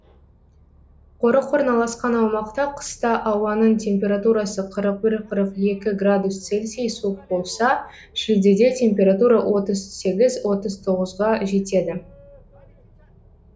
қорық орналасқан аумақта қыста ауаның температурасы қырық бір қырық екі градус целсий суық болса шілдеде температура отыз сегіз отыз тоғызға жетеді